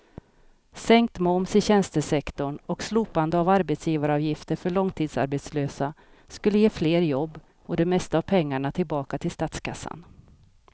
Sänkt moms i tjänstesektorn och slopade arbetsgivaravgifter för långtidsarbetslösa skulle ge fler jobb och det mesta av pengarna tillbaka till statskassan.